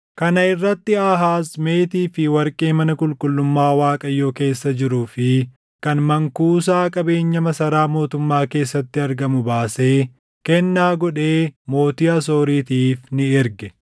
Kana irratti Aahaaz meetii fi warqee mana qulqullummaa Waaqayyoo keessa jiruu fi kan mankuusaa qabeenya masaraa mootummaa keessatti argamu baasee kennaa godhee mootii Asooritiif ni erge.